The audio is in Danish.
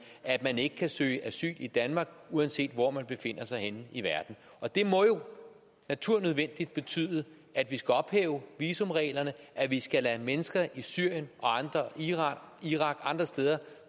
at man ikke kan søge asyl i danmark uanset hvor man befinder sig henne i verden og det må jo naturnødvendigt betyde at vi skal ophæve visumreglerne at vi skal kunne lade mennesker i syrien irak og andre steder